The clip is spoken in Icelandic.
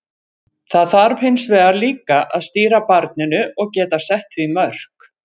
Það þarf hins vegar líka að stýra barninu og geta sett því mörk.